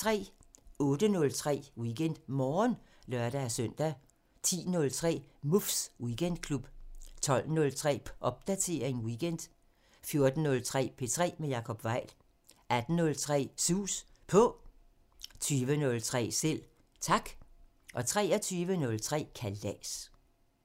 08:03: WeekendMorgen (lør-søn) 10:03: Muffs Weekendklub 12:03: Popdatering weekend 14:03: P3 med Jacob Weil 18:03: Sus På 20:03: Selv Tak 23:03: Kalas